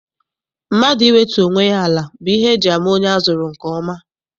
Mmadụ iwetu onwe ya ala bụ ihe eji ama onye azụrụ nke ọma.